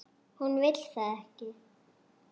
Hún vill það ekki.